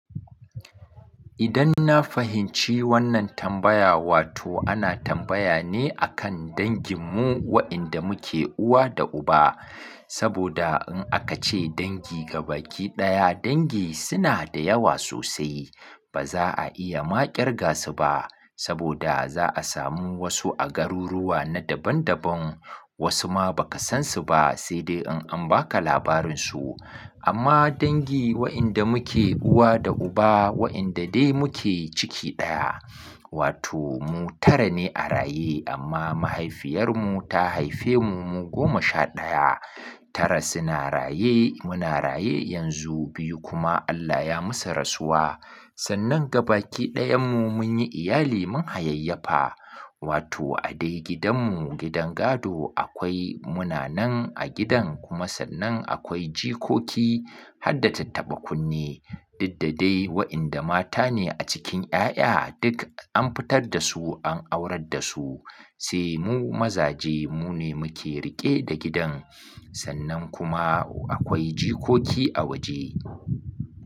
Idan na fahimci wannan tambaya, wato ana tambaya ne a kan dangin mu waƴanda muke uwa da uba. Saboda in aka ce dangi ga baki ɗaya, dangi suna da yawa sosai. Ba za a iya ma ƙirga su ba. Saboda za a samu wasu a garuruwa na daban-daban, wasu ma ba ka san su ba, sai dai in an ba ka labarin su. Amma dangi waƴanda muke uwa da uba, waƴanda dai muke ciki ɗaya, wato mu tara ne a raye amma mahaifiyarmu ta haife mu, mu goma sha ɗaya. Tara suna raye, muna raye yanzu, biyu kuma Allah ya musu rasuwa. Sannan ga baki ɗayan mu mun yi iyali mun hayayyafa, wato a dai gidan mu, gidan gado akwai muna nan a gidan kuma sannan akwai jikoki har da tattaɓa kunne. Diddadai waƴanda mata ne a cikin ƴaƴa duk an fitar da su an aurar da su. Sai mu mazaje mu ne muke riƙe da gidan sannan kuma akwai jikoki a waje.